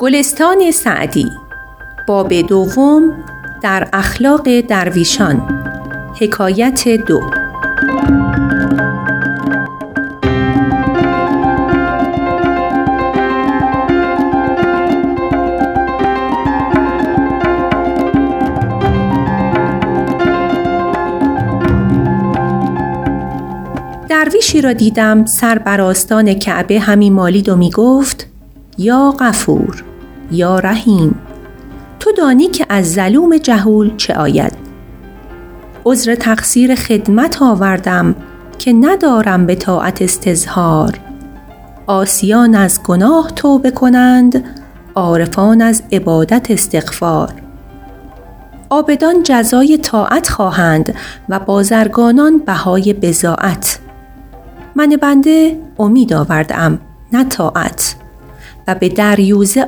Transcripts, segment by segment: درویشی را دیدم سر بر آستان کعبه همی مالید و می گفت یا غفور یا رحیم تو دانی که از ظلوم جهول چه آید عذر تقصیر خدمت آوردم که ندارم به طاعت استظهار عاصیان از گناه توبه کنند عارفان از عبادت استغفار عابدان جزای طاعت خواهند و بازرگانان بهای بضاعت من بنده امید آورده ام نه طاعت و به دریوزه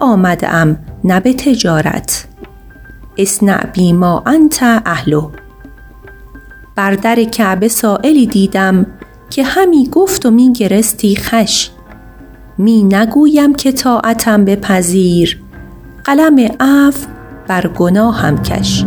آمده ام نه به تجارت اصنع بی ما انت اهله بر در کعبه سایلی دیدم که همی گفت و می گرستی خوش می نگویم که طاعتم بپذیر قلم عفو بر گناهم کش